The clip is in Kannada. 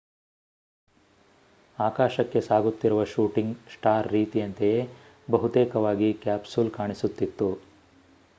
ಆಕಾಶಕ್ಕೆ ಸಾಗುತ್ತಿರುವ ಶೂಟಿಂಗ್ ಸ್ಟಾರ್ ರೀತಿಯಂತೆಯೇ ಬಹುತೇಕವಾಗಿ ಕ್ಯಾಪ್ಸೂಲ್ ಕಾಣಿಸುತ್ತಿತ್ತು